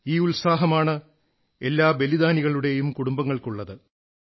ഈ ഉത്സാഹമാണ് എല്ലാ ബലിദാനികളുടെയും കുടുംബങ്ങൾക്കുള്ളത്